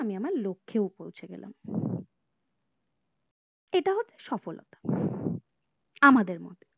আমি আমার লক্ষেও পৌঁছে গেলাম এটা হচ্ছে সফলতা আমাদের মতে